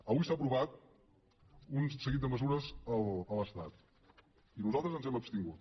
avui s’han aprovat un seguit de mesures a l’estat i nosaltres ens hem abstingut